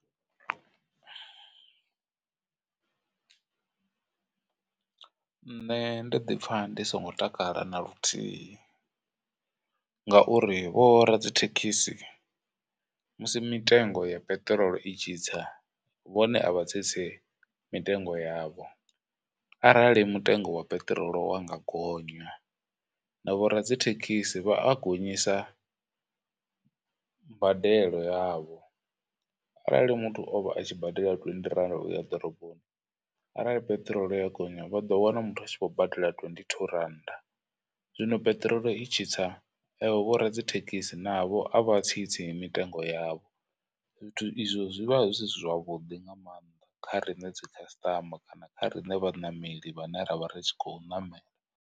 Nṋe ndo ḓi pfha ndi songo takala na luthihi ngauri vho radzithekhisi musi mitengo ya peṱirolo i tshitsa vhone a vha tsitsi mitengo yavho, arali mutengo wa peṱirolo wa nga gonya na vho radzithekhisi vha a gonyisa mbadelo yavho. Arali muthu o vha a tshi badela twendi rannda uya ḓoroboni arali peṱirolo ya gonya vhado wana muthu a tshi khou badela twenty two rannda. Zwino peṱirolo i tshi sa avho vho radzithekhisi navho a vha tsi tsi mitengo yavho zwithu izwo zwivha zwi si zwavhuḓi nga maanḓa kha riṋe dzi customer kana kha riṋe vhaṋameli vhane ra vha ri tshi khou ṋamela.